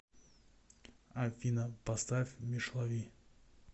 афина поставь мишлави